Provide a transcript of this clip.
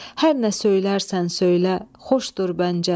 Hər nə söylərsən söylə, xoşdur bəncə.